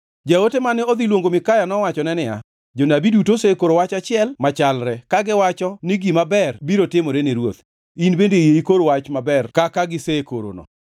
Jaote mane odhi luongo Mikaya nowachone niya, “Jonabi duto osekoro wach achiel machalre, kagiwacho ni gima ber biro timore ni ruoth. In bende yie ikor wach maber kaka gisekorono.”